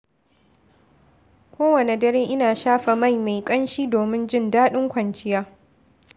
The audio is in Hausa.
Kowane dare, ina shafa mai mai ƙamshi domin jin daɗin ƙwanciya.